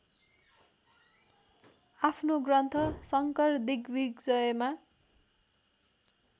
अफ्नो ग्रन्थ शंकरदिग्विजयमा